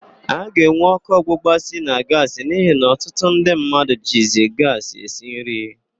A ga-enwe ọkụ ọgbụgba si na gaasị n'ihi na ọtụtụ ndị mmadụ jizi gaasị esi nri.